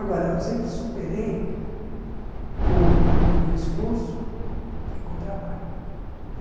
Agora, sempre superei com com esforço e com trabalho.